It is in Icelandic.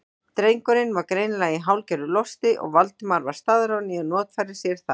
Drengurinn var greinilega í hálfgerðu losti og Valdimar var staðráðinn í að notfæra sér það.